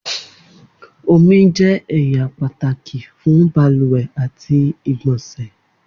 Omi jẹ ẹya pataki fun baluwe ati igbonse.